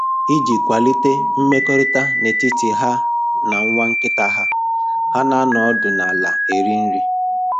Iji kwalite mmekọrịta n'etiti ha na nwa nkịta ha, ha na-anọ ọdụ n'ala eri nri